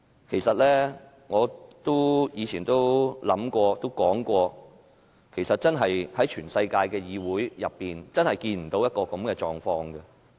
其實，我以前都說過，在全世界的議會中，真是看不到現時這種狀況。